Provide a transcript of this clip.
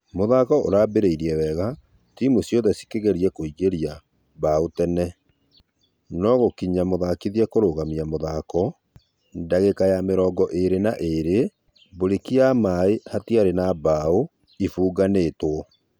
Mũthako ũrambĩrĩirie wega timũ ciothe cĩkĩgeria kũingeria bao tene , no gũgĩkinya mũthakithia kũrũgamia mũthako dagĩka ya mĩrongo ĩrĩ na ĩrĩ breki ya maĩ hatiari na bao ĩfugetwo.